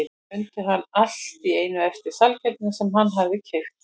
Svo mundi hann allt í einu eftir sælgætinu sem hann hafði keypt.